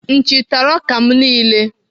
Nchi tara m ọka m niile.